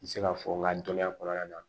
N bɛ se ka fɔ n ka dɔnniya kɔnɔna na